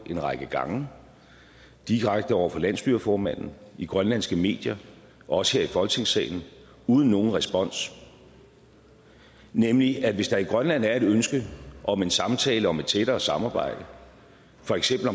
en række gange direkte over for landsstyreformanden i grønlandske medier og også her i folketingssalen uden nogen respons nemlig at hvis der i grønland er et ønske om en samtale om et tættere samarbejde for eksempel